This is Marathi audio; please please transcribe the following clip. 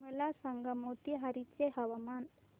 मला सांगा मोतीहारी चे हवामान